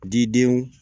Didenw